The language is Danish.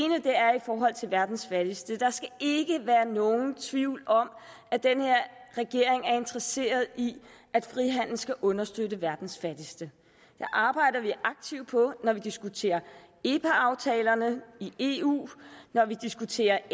forhold til verdens fattigste der skal ikke være nogen tvivl om at den her regering er interesseret i at frihandel skal understøtte verdens fattigste det arbejder vi aktivt på når vi diskuterer epa aftalerne i eu når vi diskuterer